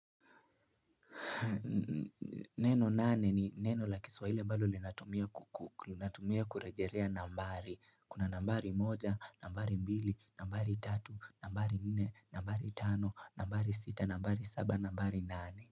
Neno nane ni neno la kiswahili ambalo linatumia ku ku, linatumia kurejelea nambari Kuna nambari moja, nambari mbili, nambari tatu, nambari nne, nambari tano, nambari sita, nambari saba, nambari nane.